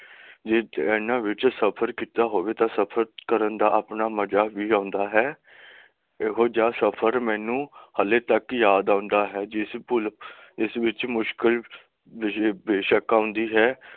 ਇਹਨਾਂ ਵਿਚ ਸਫਰ ਕੀਤਾ ਹੋਵੇ ਤਾਂ ਸਫਰ ਕਰਨ ਦਾ ਆਪਣਾ ਮਜ਼ਾ ਵੀ ਆਉਂਦਾ ਹੈ ਇਹੋ ਜਿਹਾ ਸਫਰ ਮੈਨੂੰ ਹੱਲੇ ਤੱਕ ਯਾਦ ਆਉਂਦਾ ਹੈ ਜਿਸ ਪੁਲ ਜਿਸ ਵਿਚ ਮੁਸ਼ਕਿਲ ਬੜੀ ਬੇਸ਼ਕ ਆਉਂਦੀ ਹੈ